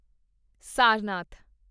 Sarnath